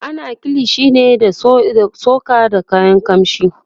ana kilishi ne da tsoka da kayan kamshi